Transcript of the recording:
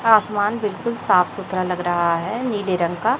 आसमान बिल्कुल साफ सुथरा लग रहा है नीले रंग का।